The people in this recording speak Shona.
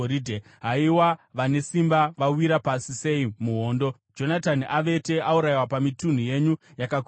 “Haiwa vane simba vawira pasi sei muhondo! Jonatani avete, aurayiwa pamitunhu yenyu yakakwirira.